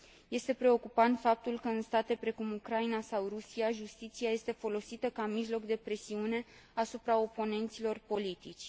Este preocupant faptul că, în state precum Ucraina sau Rusia, justiția este folosită ca mijloc de presiune asupra oponenților politici.